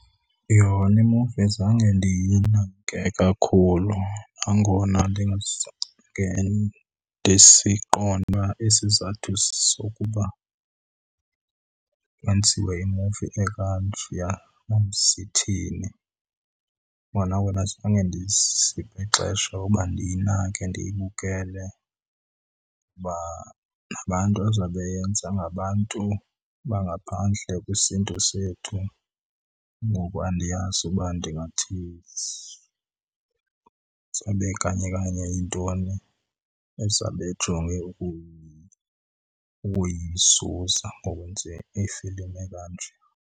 Yona imuvi azange ndiyinake kakhulu nangona ndingasange ndisiqonde uba isizathu sokuba kwenziwe imuvi ekanjeya sithini. Kona wena zange ndiziphe ixesha uba ndiyinake ndiyibukele uba nabantu ezawube yenza ngabantu bangaphandle kwisiNtu sethu. Ngoku andiyazi uba ndingathi izobe kanye kanye yintoni ezabe ejonge ukuyizusa ngokwenza ifilimu ekanje.